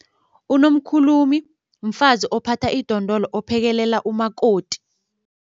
Unomkhulumi mfazi ophatha idondolo ophekelela umakoti.